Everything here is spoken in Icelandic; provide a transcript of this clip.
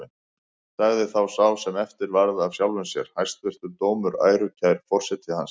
Sagði þá sá sem eftir varð af sjálfum sér: Hæstvirtur dómur, ærukær forseti hans!